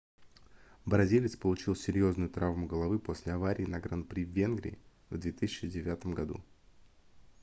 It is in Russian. бразилец получил серьёзную травму головы после аварии на гран-при в венгрии в 2009 году